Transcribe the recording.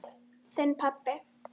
Þinn, pabbi.